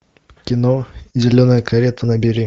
кино зеленая карета набери